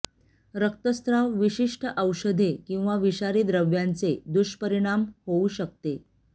रक्तस्त्राव विशिष्ट औषधे किंवा विषारी द्रव्यांचे दुष्परिणाम होऊ शकते